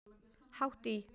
Hátt í